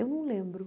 Eu não lembro.